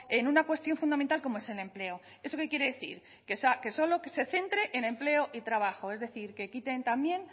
en una cuestión fundamental como es el empleo eso qué quiere decir que solo se centre en empleo y trabajo es decir que quiten también